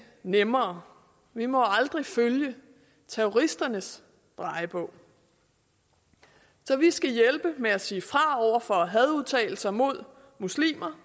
nemmere vi må aldrig følge terroristernes drejebog så vi skal hjælpe med at sige fra over for hadudtalelser mod muslimer